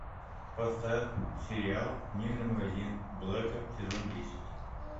поставь сериал книжный магазин блэка сезон десять